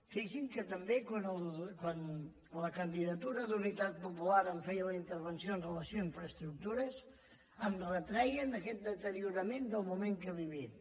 fixin se que també quan la candidatura d’unitat popular em feia la intervenció amb relació a infraestructures em retreien aquest deteriorament del moment que vivim